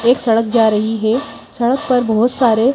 एक सड़क जा रही है सड़क पर बहुत सारे--